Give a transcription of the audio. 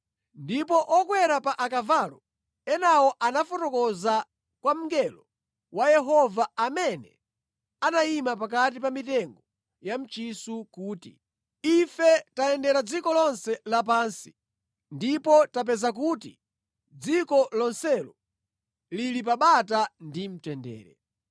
Ndipo okwera pa akavalo enawo anafotokoza kwa mngelo wa Yehova, amene anayima pakati pa mitengo ya mchisu kuti, “Ife tayendera dziko lonse lapansi ndipo tapeza kuti dziko lonselo lili pa bata ndi mtendere.”